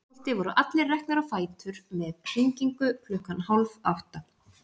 Á Reykholti voru allir reknir á fætur með hringingu klukkan hálf átta.